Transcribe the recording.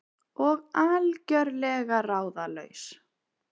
Og algjörlega ráðalaus.